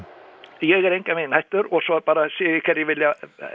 ég er engan veginn hættur svo bara sé ég hverjir vilja